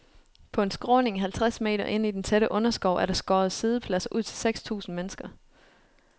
På en skråning halvtreds meter inde i den tætte underskov er der skåret siddepladser ud til seks tusind mennesker.